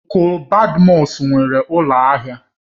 Ọnklu Badmus nwere ụlọ ahịa